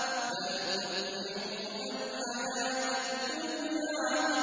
بَلْ تُؤْثِرُونَ الْحَيَاةَ الدُّنْيَا